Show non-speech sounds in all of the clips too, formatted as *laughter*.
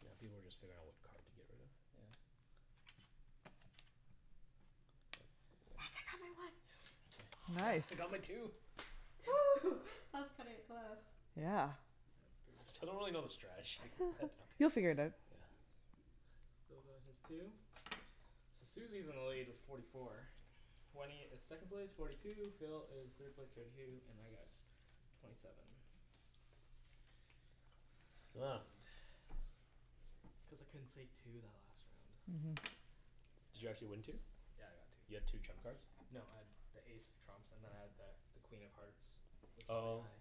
Yeah, people were just figuring out what card to get rid of. Yeah. Yes, I got my one Nice. Nice, I got my two! *noise* that's cutting it close. Yeah. That's I still don't good. really know the strategy, but okay. You'll figure it out. Yeah. Phil got his two, so Susie is in the lead with forty four, Wenny is second place, forty two, Phil is third place, thirty two, and I got twenty seven. *noise* It's cuz I couldn't say two that last round. Did you actually win two? Yeah, I got two. You got two trump cards? No, I had the ace of trumps and then I had the the Queen of Hearts which is pretty Oh. high.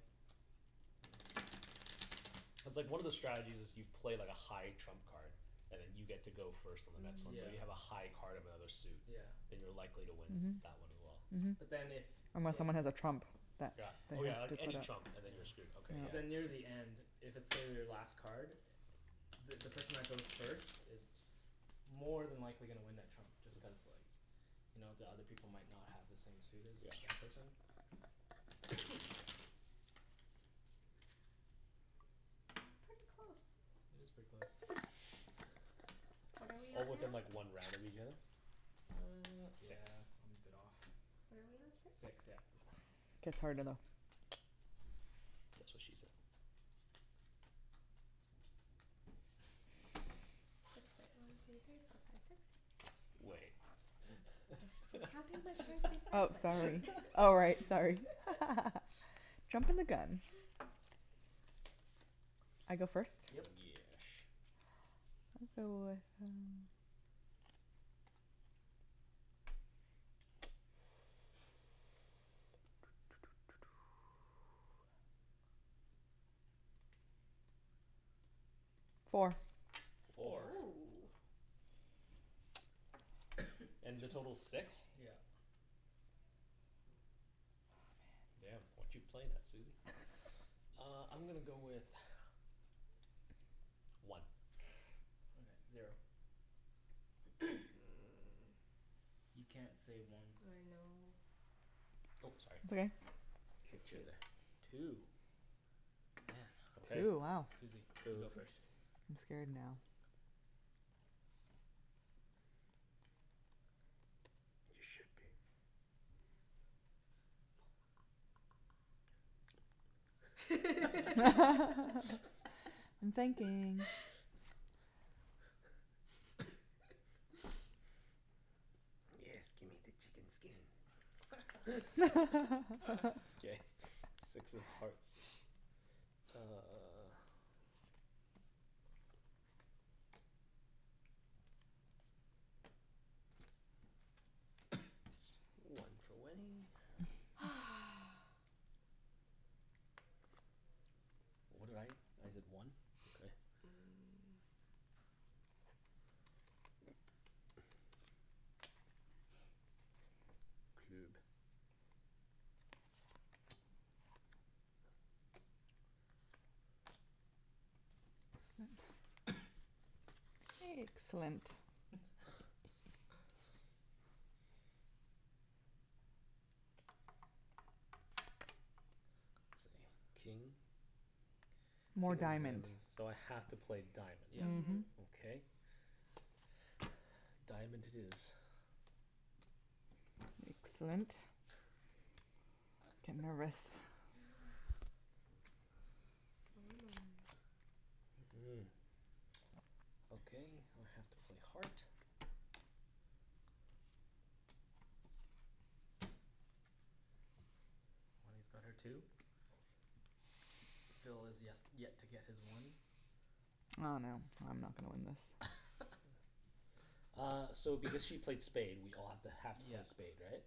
Cuz like one of the strategies is you play like a high trump card and then you get to go first and *inaudible* Yeah. so you Mhm. have a high card of another suit, Yeah then you're likely to win Mhm. that one as well. Mhm. But then if Unless someone has a trump that Yeah. Oh yeah, like any trump and then you're screwed, *inaudible* okay But yeah. then near the end, if it's say, their last card, the the person that goes first is more than likely gonna win that trump just cuz like you know the other people might not have the same suit as that person. Pretty close. It is pretty close. What are we Oh on now? within like one round of each other? Uh, Six yeah I'm a bit off. What are we on? Six? Six, yeah. That's what she said. Six, right. one two three four five six Wait *laughs* Oh sorry, oh right, sorry. *laughs* Jumpin' the gun. I go first? Yep Yesh Four Four?! Woo. And the total's six? Yeah. Damn, what you playin' there, Susie. Uh I'm gonna go with one. All right, zero. You can't say I one know Oh, It's sorry. okay. K two. Two?! Damn Two, wow Susie, you go first I'm scared now. You should be. *laughs* I'm thinking. Yes, gimme the chicken skin. *laughs* K, six of hearts. Uh One for Wenny. *noise* What did I? I did one, okay Excellent. King? More diamond So I have to play Yep diamond. Mhm. Okay. Diamond it is. Excellent. I'm nervous. Mm. Okay, now I have to play heart. Wenny's got her two. Phil has yes, yet to get his one I dunno, I'm not gonna win this. *laughs* Uh, so if because she played spade we all have to, have to Yeah play spade, right?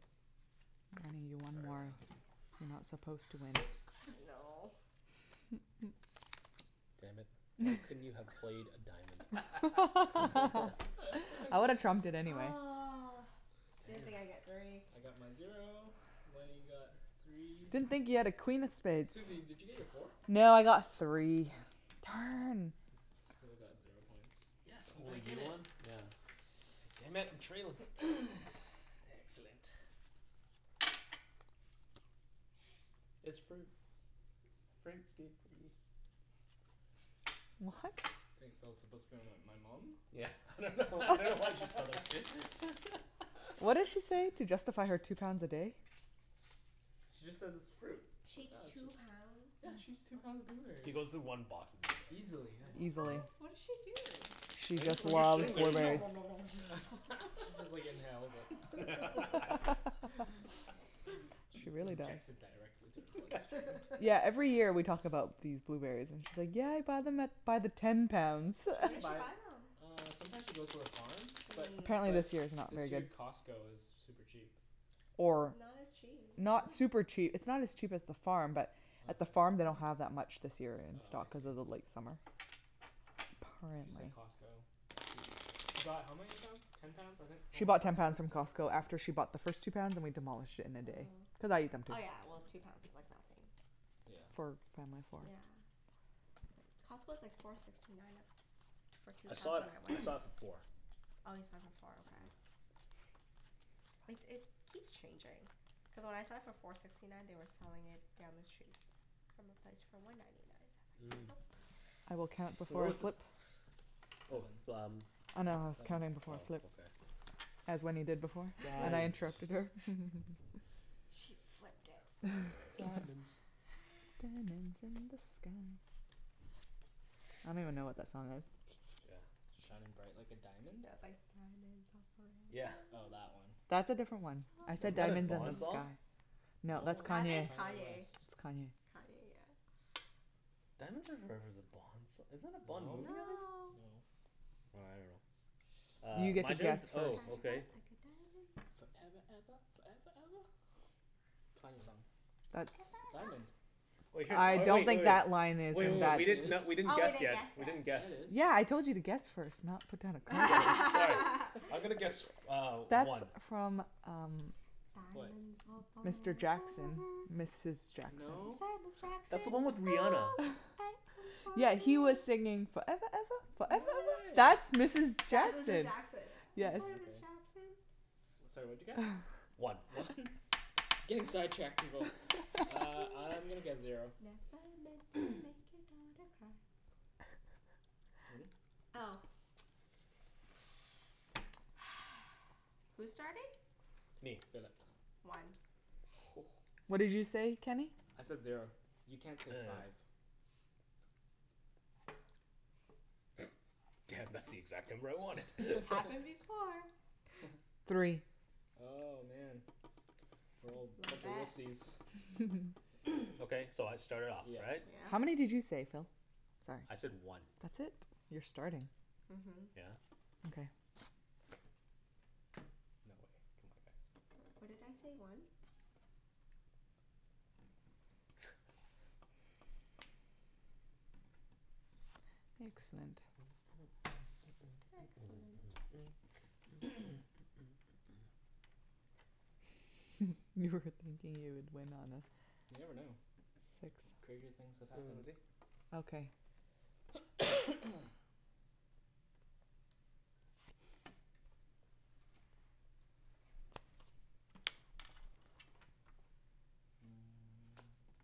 *inaudible* Sorry, Wenk. Wenk You're not supposed to win No. Damn it, why couldn't you have played a diamond. I *laughs* would've trumped it anyway. Ugh, didn't think I'd get three I got my zero, Wenny got three Didn't think you had a queen of spades Susie, did you get your four? No, I got three. Nice. S- Darn! so Phil got zero points. Yes! So I'm only back in you it! won? Yeah. Damn it, I'm trailin'. Excellent. It's fruit. Fruit's good for you. What? I think Phil's supposed to be my- my mom? Yeah, I dunno, I dunno why I just thought of *laughs* What did *laughs* she say? To justify her two pounds a day? She just says it's fruit. She eats two pounds? Yeah, she eats two pounds of She blueberries. goes through one box. *inaudible* Easily, yeah. What? What did she do? I guess, when you're sitting there you *inaudible* just nom nom nom nom nom *laughs* She just like inhales it. *laughs* She injects it directly into her bloodstream Yeah *laughs* every year we talk about these blueberries and she's like yeah I bought them at, by the ten pounds. She Where can did she buy, buy them? uh sometimes she goes to the farm But But Mm. apparently but this year is not very this year good. Costco is super cheap. Or Not as cheap Not super Really? cheap, it's not as cheap as the farm but at the farm they don't have that much this year in Oh I stock, see. cuz of the late summer. She said Costco, she she bought how many pounds? Ten pounds I think, oh She bought ten pounds from Costco after she bought the first two pounds and we demolished it in a day. Cuz Oh. I ate them too. Oh yeah well two pounds is like nothing Yeah. Yeah. It's like, Costco's like four sixty nine a- for two I saw pounds it, when I I went. saw it for four. Oh you saw it for four, okay. Like it keeps changing. Cuz when I saw it for four sixty nine they were selling it down the street from a place for one ninety nine. So I was like, Where was this? nope. Oh Seven, f- um. yeah seven As Wenny did before but I Diamonds interrupted her. She flipped it for me. Diamonds Diamonds in the sky I don't even know what that song is Yeah. Shining bright like a diamond? Yeah, it's like, "Diamonds are Yeah forever." Oh, that one That's a different one. I Was said that a "diamonds in the Bond song? sky". No, No, I think it's it's Kanye West. Kanye. It's Kanye Kanye, yeah. Diamonds are forever's a bond song, isn't that a Bond movie? *inaudible* No. No. Well, I dunno Uh, my turn? Oh okay. Foreva eva, foreva eva. Kanye song That's Diamond. Wait, I oh don't wait, think oh that line wait. is Wait wait in wait, that we didn't not, we s- didn't Oh we guess didn't yet. guess We yet didn't guess. Yeah, Yeah, I it is told you to guess first not put down. *inaudible* *laughs* I'm gonna guess uh That's one. from um Diamonds are Mr forever Jackson, Mrs Jackson I'm No? sorry, That's Ms the one with Jackson. Rihanna. Yeah, he was singing "foreva eva foreva No eva." That's way! Mrs That's Mrs Jackson Jackson yeah. I'm sorry, Ms Jackson. Sorry, what'd you guess? One. One? Getting sidetracked, people. Uh, I'm gonna guess zero. Wenny? Oh. *noise* Who's starting? Me. Philip. One. Whoa. What did you say, Kenny? I said zero. You can't say five. Damn, that's the exact number I wanted. It's happened *laughs* before. Three Oh, man. Okay, so I start it off, Yeah. right? Yeah. How many did you say, Phil? I said one. That's it? You're starting. Mhm. Yeah. No way. C'mon guys What did I say, one? Excellent. Excellent. You were thinking you would win on a- You never know. Crazier things have happened.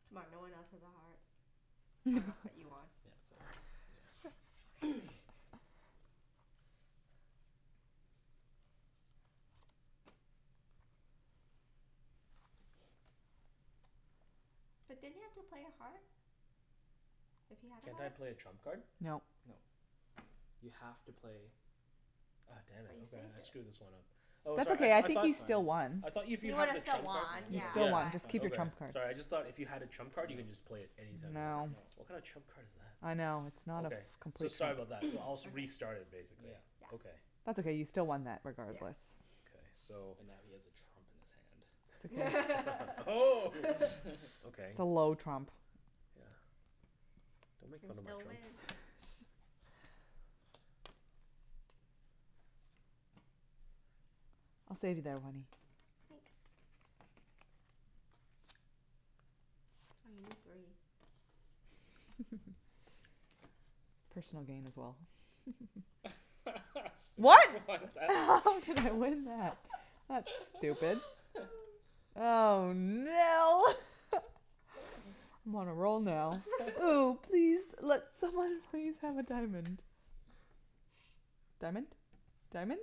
C'mon, no one else has a heart. I dunno, but you won. Sweet! Okay But didn't you have to play a heart? If you had a Can't I heart? play a trump card? No. No. You have to play Oh damn But it, you okay, saved I it screwed this one up. Oh That's sorry, okay I I I think thought you still won I thought if you He have would've the still trump card won, yeah Yeah, Yeah. it's Keep your Okay, trump fine card sorry, I just thought if you had a trump card you can just play it anytime you want. No What kind of No trump card is that? I know, it's not a Okay, f- so complete sorry trump- about that. So I'll s- restart it basically. Yeah. That's okay you still won that Yes. regardless. Okay so But now he has a trump in That's his hand okay *laughs* Oh. *laughs* Okay. It's a low trump Yeah, don't You make can fun of my still trump. win. I'll save you there Wenny. Thanks. Oh, you need three. Personal gain as well. *laughs* What?! *laughs* what is that? That's stupid. Oh no! *laughs* I'm on a roll now. *laughs* Oh please, let someone please have a diamond. Diamond? Diamond?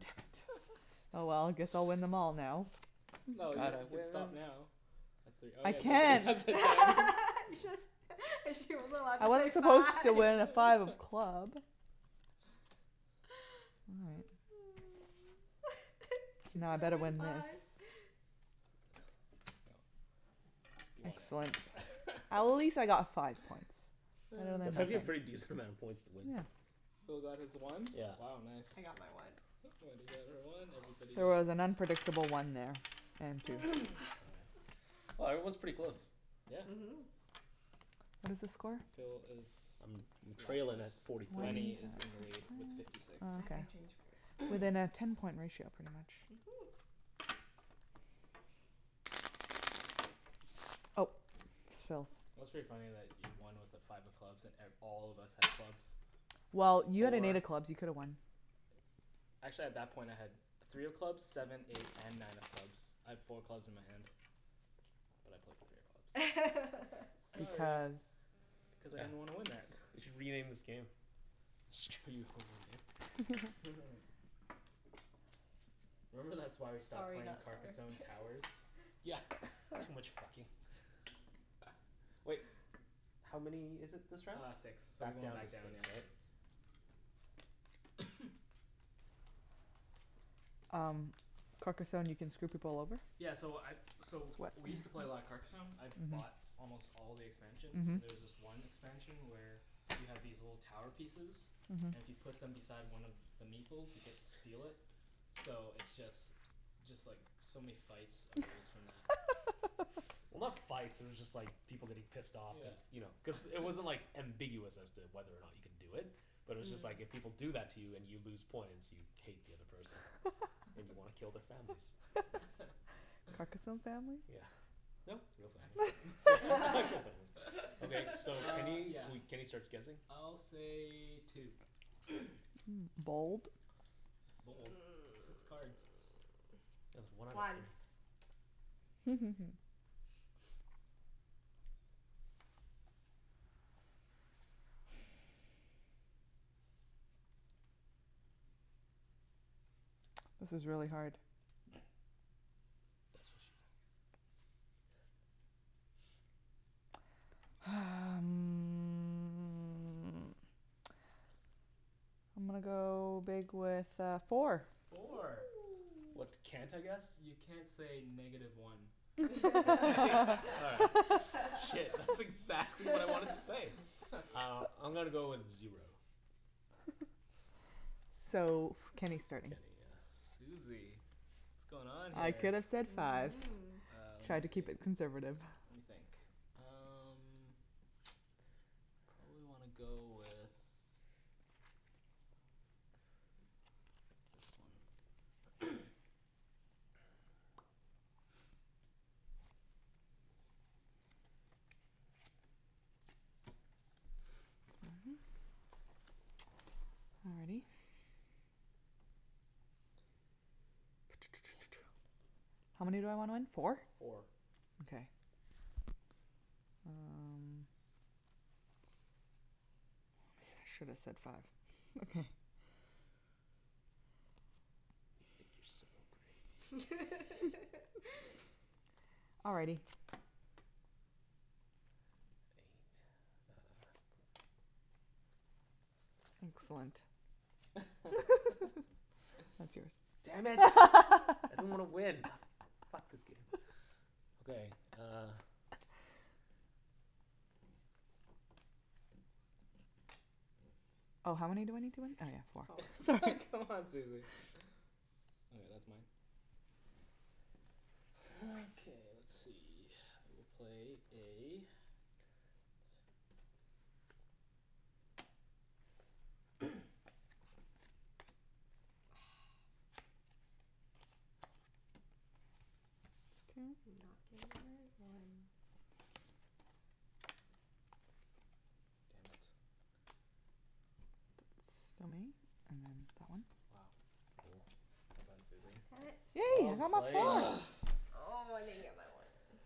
Damn it, oh well, guess I'll win them all now. No, you you can stop now, at three Oh I yeah, nobody has can't. a diamond *laughs* You just, she wasn't allowed to I say was supposed five to win at five of club. *laughs* She's Now I gonna better win win this. five Yep, you won Excellent. At least I it. *laughs* got five points That's actually a pretty decent amount of points to win. Phil got his one Yeah. Wow nice. I got my one. Wenny got her one, everybody She got was an unpredictable one there. Wow, everyone's pretty close. Yeah. Mhm. What is the score? Phil is I'm trailin' at forty three. Wenny is in the lead with fifty six. Within a ten point ratio Mhm. Oh, Phil's. It was pretty funny that you won with a five of clubs at and all of us had clubs, Well, you had four a clubs. You could've won. Actually at that point I had three of clubs, seven, eight and nine of clubs. I had four clubs in my hand, but I played three of clubs *laughs* Sorry Cuz I didn't want to win that They should rename this game. Screw you over game. Remember that's why we stopped playing Carcassonne Towers? Yeah, too much fucking. Wait, how many is it this round? Uh six, so we're Back going down to back down six, yeah. right? Um, Carcassonne can screw people over? Yeah so I so we used to play a lot of Carcasonne, I bought almost all the expansions, and there's this one expansion where you have these little tower pieces, and if you put them beside one of the Meeple's you get to steal it. So it's just, just like so many fights arose from that. *laughs* Well, not fights, they were just like people getting pissed off. Cuz you know, cuz Yeah it wasn't like ambiguous as to whether or not you can do it, but it's just like if people do that to you and you lose points, you'd hate the other person. And you wanna kill *laughs* their families. *laughs* Carcasonne families? Yeah. No, real families *laughs* *laughs* Okay, so Uh Kenny, yeah we Kenny starts guessing I'll say two. *noise* Six cards. One This is really hard. That's what she said. Hum, I'm gonna go big with uh four. Four Woo. What can't I guess? You can't say negative one. *laughs* All right, shit, that's exactly what I wanted to say! *laughs* Uh, I'm gonna go with zero. So Kenny start, k Susie, what's going on I here could've said five Mm. Uh lemme Try to keep see it conservative. Lemme think, um probably wanna go with this one. *noise* Alrighty. *noise* How many do I want? Four? Four. Okay. Um, should've said five You think you're so great. *laughs* Alrighty. Excellent Damn it. *laughs* I didn't wanna win. Ah, f- fuck this game. Okay, uh Oh how many do I need to win? Oh yeah four, sorry C'mon, Susie. All right, that's mine. Okay let's see, I will play a *noise* Did not get my one. Damn it. Wow, well done Susie. Damn it. Yay! Well played. Ugh! Oh, I didn't get my one.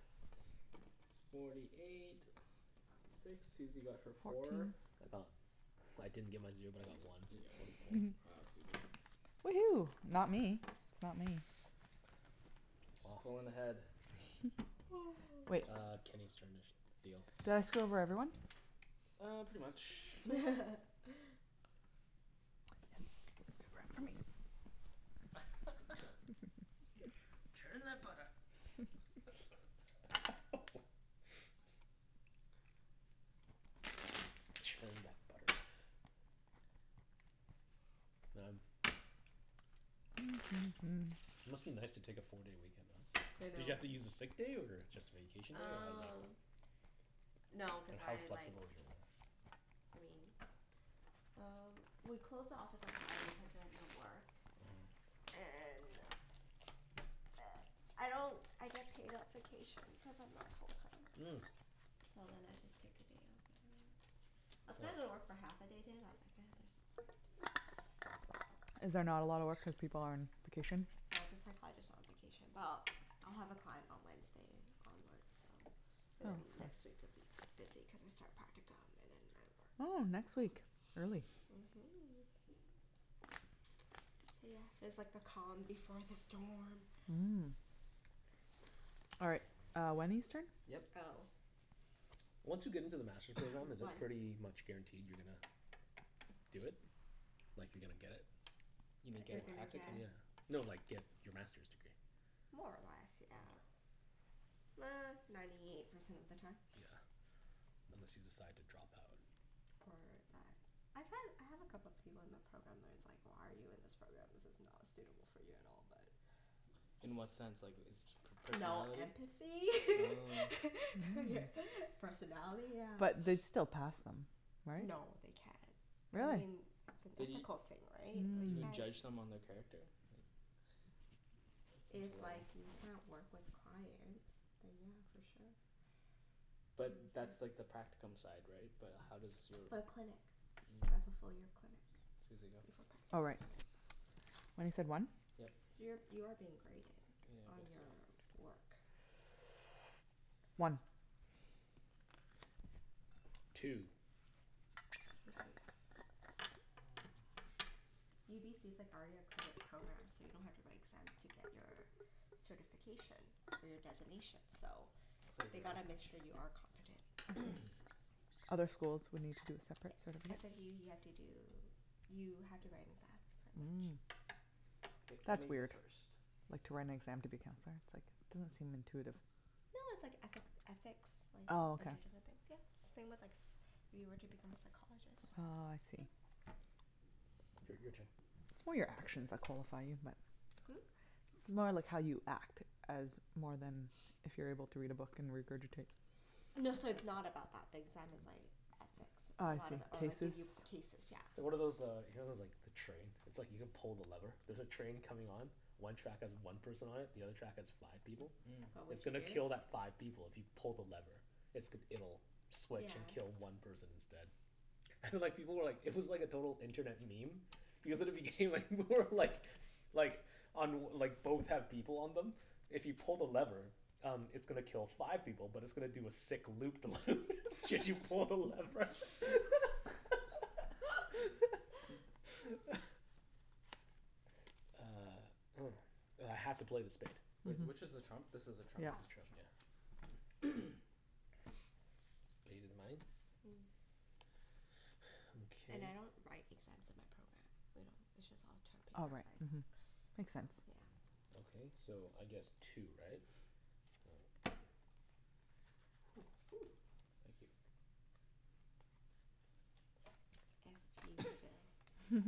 Forty eight, fifty six, Susie got her four. I got, I didn't get my zero but I got one. You get one Fourty four. point. Wow Susie. Woohoo, not me. It's not me. She's pullin' ahead. Uh Kenny's turn to sh- Did deal. I screw over everyone? Uh, pretty much. *laughs* *laughs* Churn that butter. Churn that butter. Man, it must be nice to take a four day weekend off. I Did know you have to use a sick day or just vacation day or Um, *inaudible* no cuz I like, I mean uh we close the office at seven cuz I was at work and I don't I get paid at vacation cuz I'm not full time. Mm. So then I just take a day off whatever. I was gonna go to work for half a day today but I was like nah, there's no point. Is there not a lot of work when people are on vacation? They have the psychologist on vacation. Well, I'll have a client on Wednesday onward so and then next week it would be busy cuz I start practicum and then I Oh, work. next week. Early. Mhm. Yeah, this is like the calm before the storm. Mm. All right, uh Wenny's turn? Yep. Oh. Once you get into the Master's program, is it One pretty much guaranteed you're gonna do it? Like you're gonna get it? You mean get You're a gonna get practicum? Yeah, no like, get your Masters degree. More or less, yeah. Uh, ninety eight percent of the time. Yeah, unless you decide to drop out. Or that, I find, I have a couple of people in the program where it's like, why are you in this program this is not suitable for you at all but In what sense like, is per- No personality? empathy Oh. *laughs* Personality yeah. But they'd still pass them right? No, they can't. I Really? mean, it's an But you, ethical thing, right, like you you would can't. judge someone their character? Like If like, you can't work with clients then yeah, for sure But that's like the practicum side, right? But how does your For clinic. Mm. Right, fullfil your clinic before Susie, go. Oh right. practicum What is it, one? So you're, Yep. you are being graded Yeah I On your guess so work One Two Cuz like UBC's like already accredited program so you don't have to write exams to get your certification for your designation so I'd say They zero gotta make sure you are competent Other schools would need to, separate certificate? SFU you have to do, you have to write an exam pretty Mm much. K, That's lemme guess weird, first like to write an exam to be counselor, it's like doesn't seem intuitive. No, it's like ethic, ethics like, a bunch of different things. Yeah, it's same with like, if you were to become a psychologist. Oh I see Yep. Your your turn It's more your actions that qualify you but Hm? It's more like how you act as more than if you're able to read a book and regurgitate. No, so it's not about that, the exam is like Oh I ethics see, Or like, cases give you cases, yeah. So what are those uh you know those like the train? It's like you can pull the lever, there's a train coming on, one track has one person on it, the other track has five people. What It's would you gonna Mm do? kill that five people if you pull the lever. It's g- it'll switch Yeah. and kill one person instead. And like people were like it was like a total internet meme because at the beginning like, more like, like on like both have people on them, if you pull the lever, um it's gonna kill five people but it's gonna do a sick loop the loop should you pull the lever. *laughs* *laughs* Uh, oh. I have to play the spade. Wait, which is the trump? This is the That's the trump trump Mm, *inaudible* and I don't write exams in my program. We don't, it's just all term paper. It's like So Makes sense yeah. Ok so, I guess two, right? Woo! Thank you. Iffy Phil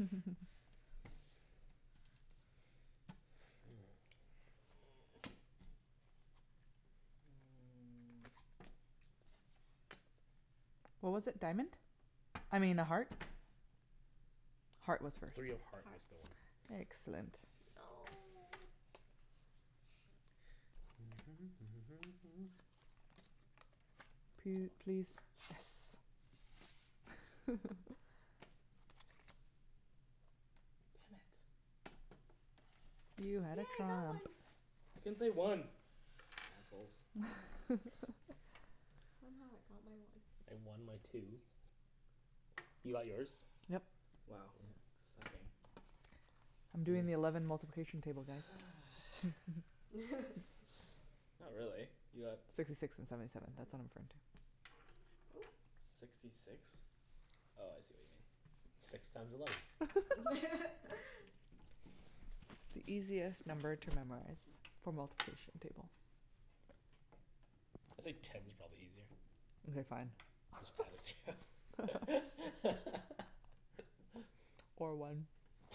What was it, diamond? I mean, a heart? Heart was first. Three of heart was Heart the one. Excellent No! P- please, Yes! Damn it. You Yes, had yay a I got trump. one! I can't say one! Assholes Somehow I got my one. I won my two. You got yours? Yep. Wow, sucking. I'm doing the eleven multiplication table guys *laughs* Not really. You got Sixty six and seventy seven, that's *inaudible* Oop! Sixty six? Oh I see what you mean. Six times eleven. *laughs* The easiest number to memorize for multiplication table It's like ten's probably easier. Mkay fine. Just add a zero. *laughs* Or one.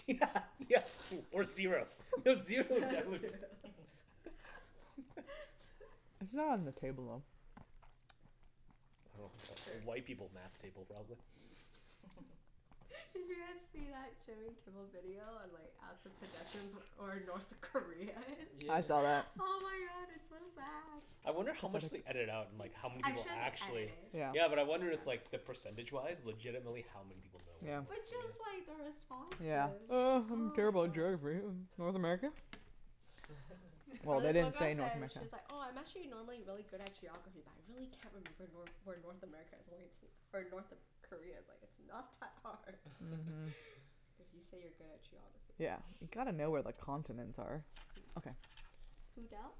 Yeah *laughs* yeah, or or zero. Zero would *laughs* *laughs* It's not on the table, though. Well, white people's math table probably. *laughs* Did you guys see that Jimmy Kimmel video on like ask the pedestrians where or North Korea is? Yeah. I saw that Oh my god, it's so sad. I wonder how much they ediited out and like how many I'm people sure they edit it. actually Yeah, but I wonder it's like, the percentage wise legitimately how many people know where But North just Korea like the is? responses. Oh I don't Oh care my about god geography, North America? Or this one girl said she's like, "Oh I'm actually normally really good at geography but I really can't remember Nor- where North America is or it's, North Korea is." Like it's not that hard *laughs* If you say you're good at geography Yeah. You gotta know where the continents are. Okay. Who dealt?